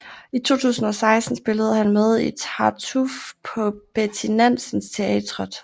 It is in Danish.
I 2016 spillede han med i Tartuffe på Betty Nansen Teatret